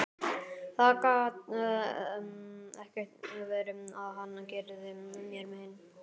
Það gat ekki verið að hann gerði mér mein.